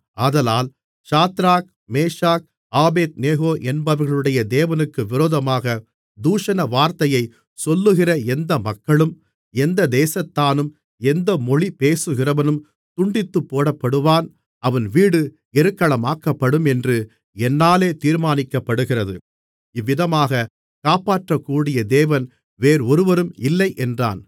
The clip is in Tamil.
ஆதலால் சாத்ராக் மேஷாக் ஆபேத்நேகோ என்பவர்களுடைய தேவனுக்கு விரோதமாகத் தூஷணவார்த்தையைச் சொல்லுகிற எந்த மக்களும் எந்த தேசத்தானும் எந்த மொழி பேசுகிறவனும் துண்டித்துப்போடப்படுவான் அவன் வீடு எருக்களமாக்கப்படும் என்று என்னாலே தீர்மானிக்கப்படுகிறது இவ்விதமாக காப்பாற்றக்கூடிய தேவன் வேறொருவரும் இல்லையென்றான்